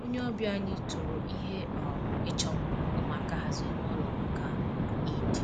Onye ọbịa anyị toro ihe um ịchọ mma ụmụaka haziri nụlọ maka um Eid